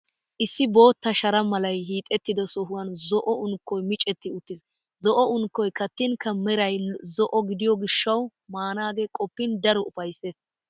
Issi bootta shara malay hiixettido sohuwan zo'o unkkoy micetti uttiis. Zo'o unkkoy kattinkka meray zo'o gidiyo gishshawu maanaagee qoppin daro ufayssees.